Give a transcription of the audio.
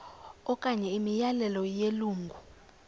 okanye imiyalelo yelungu